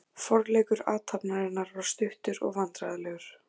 Forleikur athafnarinnar var stuttur og vandræðalegur.